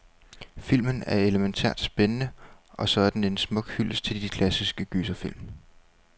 Filmen er elemæntært spændende, og så er den en smuk hyldest til de klassiske gyserfilm.